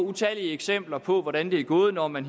utallige eksempler på hvordan det er gået når man